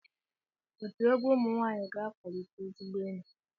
Otu egwu ụmụ nwaanyịga-akwalite ezigbo enyi.